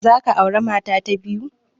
Za ka aure mata ta biyu?